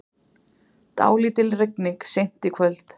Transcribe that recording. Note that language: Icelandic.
Dálítil rigning seint í kvöld